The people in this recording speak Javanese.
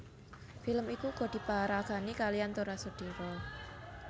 Film iku uga diparagani kaliyan Tora Sudiro